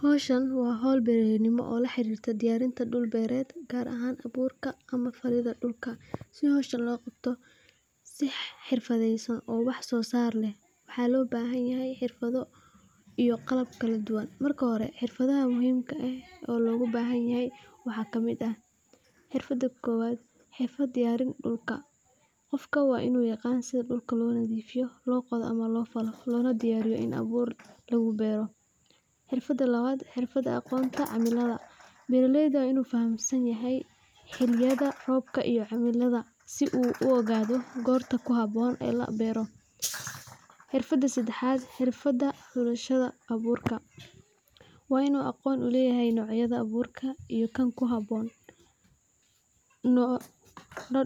Howshaan wa howl beraleyimo oo laharirta diyarinta duul beret gaar aha durka ama falida dulka, si howsha logabto si hirfadeysan oo wax sosar leh, waxa lobahanyaha hirfado iyo qalab kaladuwan, marka hore hirfadaha muxiimka eh oo logabahanyahay waxa kamid ah hirfada kowad hirfad diyarin dulka, gofka wa inu yagan sidha dulka lonafifiyo lona qodo ama lofalo, lonadiyariyo in abuur lagubero, hirfada lawad hirfada agonta ama cimilada, beraleyda wa inu fahansanyahay cimilada roobka , si uu u ogadai gorta kuhaboon ee labero, hirfada sadahat wa hulashada aburka, wa inu agoon uleyahay nocyada abuurka iyo kan luhaboon,